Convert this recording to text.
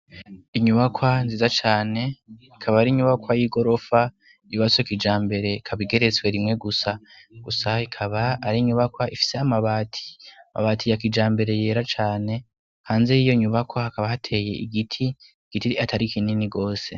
Inyubakwa nziza cane ikaba ari inyubakwa y'i gorofa ribasoka ija mbere kabigeretswe rimwe gusa gusa ikaba ari inyubakwa ifise mabati amabati yakija mbere yera cane hanze yiyo nyubako hakaba hateye igiti igitiri atari kinini rwose.